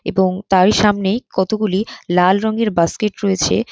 এবং তারই সামনেই কতগুলি লাল রঙের বাস্কেট রয়েছে।